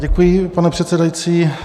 Děkuji, pane předsedající.